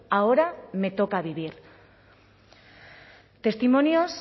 ahora me toca a vivir testimonios